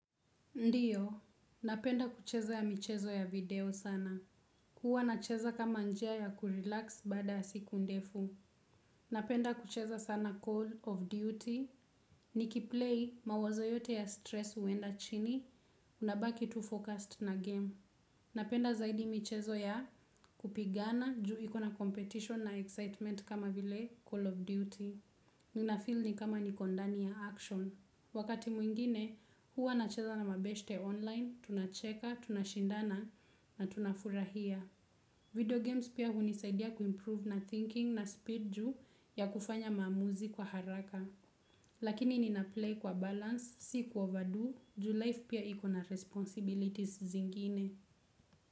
Ndiyo, napenda kucheza ya michezo ya video sana. Kuwa nacheza kama njia ya kurelax bada asiku ndefu. Napenda kucheza sana call of duty. Nikiplay mawazo yote ya stress uenda chini, unabaki too focused na game. Napenda zaidi michezo ya kupigana juiko na competition na excitement kama vile call of duty. Ninafil ni kama nikondani ya action. Wakati mwingine, huwa na cheza na mabeshte online, tunacheka, tunashindana na tunafurahia. Video games pia hunisaidia kuimprove na thinking na speed juu ya kufanya maamuzi kwa haraka. Lakini ninaplay kwa balance, si kuoverdo, juu life pia ikona responsibilities zingine.